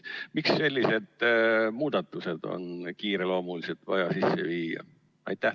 " Miks on sellised muudatused vaja kiireloomuliselt sisse viia?